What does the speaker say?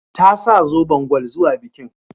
Ta sa zoben gwal zuwa bikin.